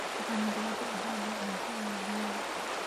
Waxaan gabi ahaanba cunto iyo biyaba